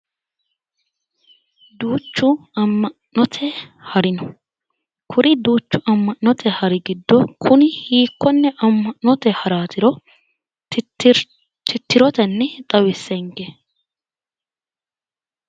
Duuchu ama'note hari no, kuri duuchu ama'note hari giddo kuni hiikkone ama'note haratiro titiroteni xawisenke